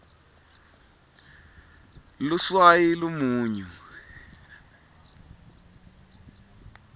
luswayi lumunyu